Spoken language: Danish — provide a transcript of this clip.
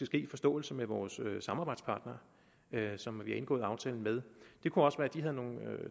ske i forståelse med vores samarbejdspartnere som vi har indgået aftalen med det kunne også være de havde nogle